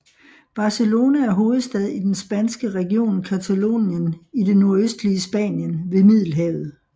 Barcelona er hovedstad i den spanske region Catalonien i det nordøstlige Spanien ved Middelhavet